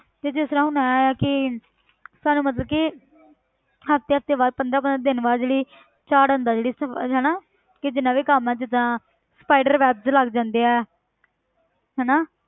ਤੇ ਜਿਸ ਤਰ੍ਹਾਂ ਹੁਣ ਇਹ ਹੈ ਕਿ ਸਾਨੂੰ ਮਤਲਬ ਕਿ ਹਫ਼ਤੇ ਹਫ਼ਤੇ ਬਾਅਦ ਪੰਦਰਾਂ ਪੰਦਰਾਂ ਦਿਨ ਬਾਅਦ ਜਿਹੜੀ ਝਾੜ ਆਉਂਦਾ ਜਿਹੜੀ ਸਫ਼~ ਹਨਾ ਕਿ ਜਿੰਨਾ ਵੀ ਕੰਮ ਹੈ ਜਿੱਦਾਂ spider webs ਲੱਗ ਜਾਂਦੇ ਹੈ ਹਨਾ